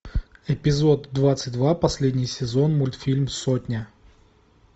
эпизод двадцать два последний сезон мультфильм сотня